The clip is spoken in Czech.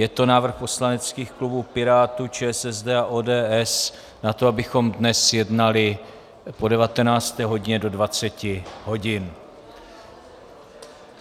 Je to návrh poslaneckých klubů Pirátů, ČSSD a ODS na to, abychom dnes jednali po 19. hodině do 20 hodin.